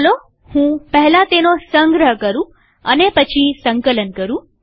ચાલો હું પહેલા તેનો સંગ્રહ કરું અને પછી સંકલન કરું